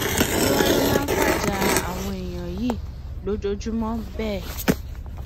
kí wàá lọ máa ń fajà àwọn èèyàn yìí lójoojúmọ bẹẹ